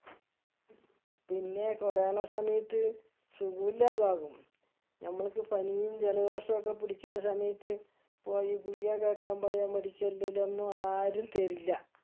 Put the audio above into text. പിന്നെ corona സമയത്ത് സുഗുല്ലാതാകും നമ്മൾക്ക് പനിയും ജലദോഷവും ഒക്കെ പുടിക്കിന്ന സമയത്ത് പോയി ഗുളിക കേക്കാൻ പോയ medical ലൊന്നും ആരും തരില്ല